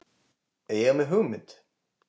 Ég er með hugmynd.